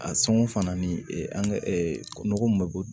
A sɔngɔ fana ni an ka nɔgɔ min bɛ bɔ